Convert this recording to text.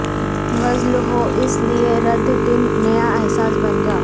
غزل ہوں اس لئے ر دن نیا احساس بن جائوں